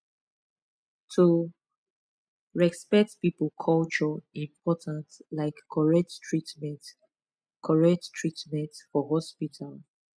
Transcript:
to respect people culture important like correct treatment correct treatment for hospital